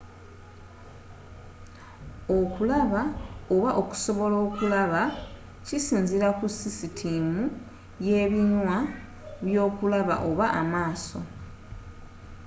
okulaba oba okusobola okulaba kisinzira ku sisitimu yebinywa byokulaba oba amaaso